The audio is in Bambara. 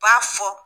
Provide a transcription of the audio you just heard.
U b'a fɔ